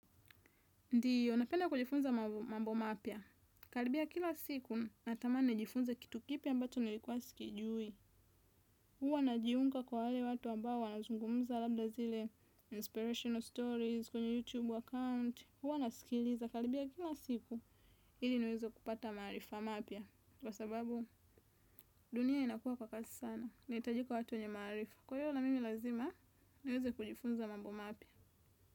Ndiyo, napenda kujifunza mambo mapya. Karibia kila siku, natamani nijifunze kitu kipya ambacho nilikuwa sikijui. Huwa najiunga kwa wale watu ambao wanazungumza labda zile inspirational stories kwenye YouTube account. Huwa nasikiliza. Karibia kila siku, ili niweze kupata maarifa mapya. Kwa sababu, dunia inakuwa kwa kasi sana. Inahitajika watu wenye maarifa. Kwa hiyo, na mimi lazima, niweze kujifunza mambo mapya.